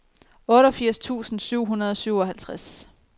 otteogfirs tusind syv hundrede og syvoghalvtreds